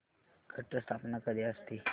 घट स्थापना कधी असते